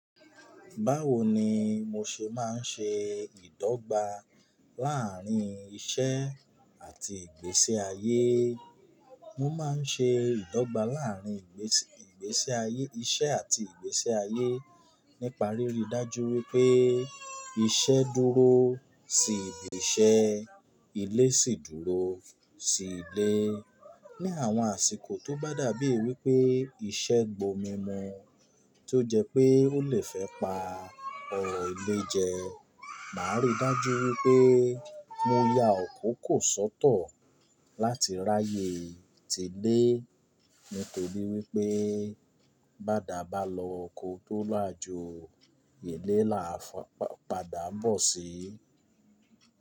Báwo ni mo ṣe máa ń ṣe ìdọ́gba láàrín iṣẹ́ àti ìgbésẹ ayé? Mo máa ń ṣe ìdọ́gba láàrín ìgbésẹ ayé, iṣẹ́ àti ìgbésẹ ayé nípa rírí dájú wípé iṣẹ́ dúró sí ibi iṣẹ́, ilé sì dúró sí ilé. Ni àwọn àsìkò tó bá dàbí wípé iṣẹ́ gba omi mu tí ó jẹ́ pé ó lè fẹ́ pa ọrọ̀ ilé jẹ, màá ríi dájú wípé mó ya àkókò sọ́tọ̀ láti ráyè tí ilé nítorí wípé bá dá ba loko tó làjọ̀ ile làá padà bọ̀ sí.